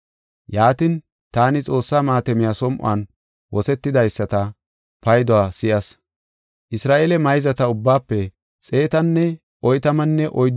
Yaatin, taani Xoossaa maatamey som7on wosetidaysata payduwa si7as. Isra7eele mayzata ubbaafe 144000 asaas som7on maatame wothis.